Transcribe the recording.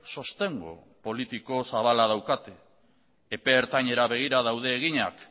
sostengu politiko zabala daukate epe ertainera begira daude eginak